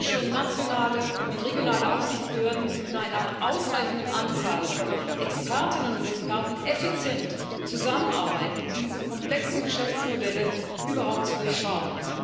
Europäische, nationale und regionale Aufsichtsbehörden müssen mit einer ausreichenden Anzahl von Expertinnen und Experten effizient zusammenarbeiten, um diese komplexen Geschäftsmodelle überhaupt zu durchschauen.